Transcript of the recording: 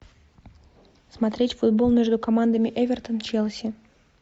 смотреть футбол между командами эвертон челси